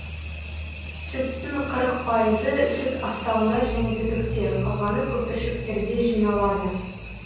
сүттің қырық пайызы сүт астауында және түтікте қалғаны көпіршіктерде жиналады